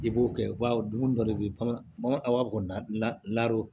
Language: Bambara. I b'o kɛ baw dumuni dɔ de bɛ bama a b'a bɔ